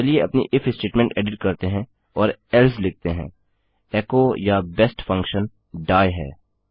चलिए अपनी if statement edit करते हैं और एल्से लिखते हैं एको या बेस्ट फंक्शन डाइ है